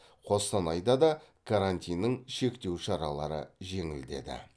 қостанайда да карантиннің шектеу шаралары жеңілдеді